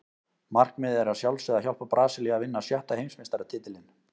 Markmiðið er að sjálfsögðu að hjálpa Brasilíu að vinna sjötta Heimsmeistaratitilinn.